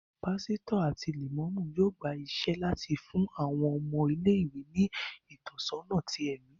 Pásítọ̀ àti Lẹ̀mọ́mú yóò gba iṣẹ́ láti fún àwọn ọmọ ilé-ìwé ní ìtọ́sọ́nà tí ẹmi